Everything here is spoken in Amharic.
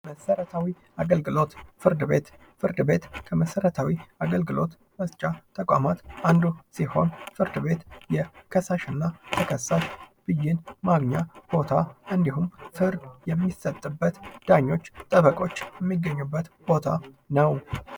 መሰረታዊ አገልግሎት፦ ፍርድ ቤት፦ ፍርድ ቤት ከመሰረታዊ አገልግሎት መስጫ ተቋማት አንዱ ሲሆን ፍርድ ቤት የከሳሽና ተከሳሽ ብይን ማግኛ ቦታ እንዲሁም ፍርድ የሚሰጥበት፣ ዳኞች፣ ጠበቃወች የሚገኙበት ቦታ ነው።